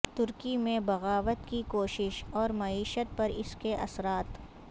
ترکی میں بغاوت کی کوشش اور معیشت پر اس کے اثرات